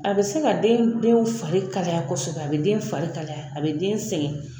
A bɛ se ka den denw fari kalaya kɔsɔbɛ a bɛ den fari kalaya a bɛ den sɛgɛn.